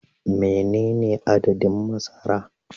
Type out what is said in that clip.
Menene adadin masara